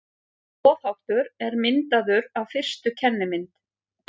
Boðháttur er myndaður af fyrstu kennimynd.